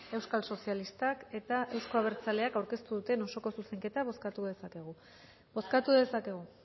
euskal sozialistak eta euzko abertzaleak aurkeztu duten osoko zuzenketa bozkatu dezakegu bozkatu dezakegu